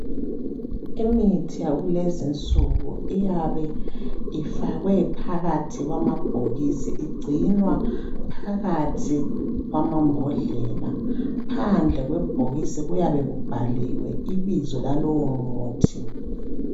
Imithi yakulezi insuku iyabe ifakwe phakathi kwamabhokisi igcinwa phakathi kwamambodlela. Phandle kwebhokisi kuyabe kubhaliwe ibizo lalowo muthi.